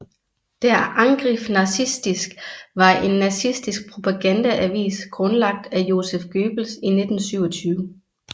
Der Angriff nazistisk var en nazistisk propagandaavis grundlagt af Joseph Goebbels i 1927